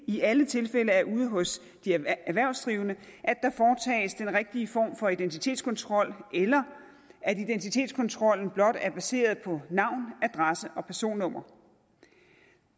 i alle tilfælde er ude hos de erhvervsdrivende at rigtige form for identitetskontrol eller at identitetskontrollen blot er baseret på navn adresse og personnummer